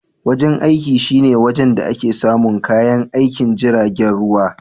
Wajen aiki shine wajen da ake samun kayan aikin jiragen ruwa.